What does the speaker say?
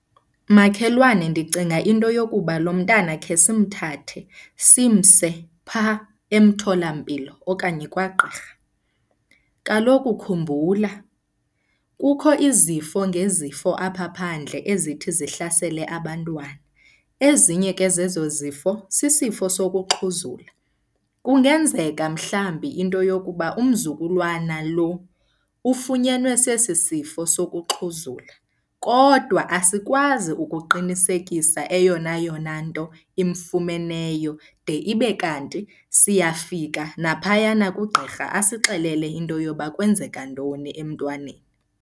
Makhelwane, ndicinga into yokuba lo mntana khe simthathe simse phaa emtholampilo okanye kwagqirha. Kaloku khumbula kukho izifo ngezifo apha phandle ezithi zihlasele abantwana, ezinye ke zezo zifo sisifo sokuxhuzula. Kungenzeka mhlawumbi into yokuba umzukulwana lo ufunyenwe sesi sifo sokuxhuzula, kodwa asikwazi ukuqinisekisa eyona yona nto imfumeneyo de ibe kanti siyafika naphayana kugqirha asixelele into yoba kwenzeka ntoni emntwaneni.